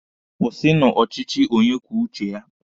Kwụsịnụ ọchịchị onye kwuo uche ya!